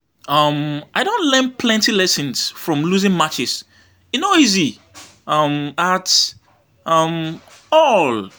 um I don learn plenty lessons from losing matches; e no easy um at um all.